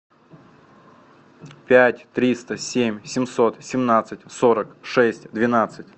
пять триста семь семьсот семнадцать сорок шесть двенадцать